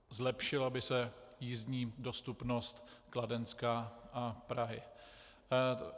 Zlepšila by se jízdní dostupnost Kladenska a Prahy.